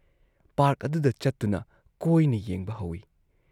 Park ꯑꯗꯨꯗ ꯆꯠꯇꯨꯅ ꯀꯣꯏꯅ ꯌꯦꯡꯕ ꯍꯧꯏ ꯫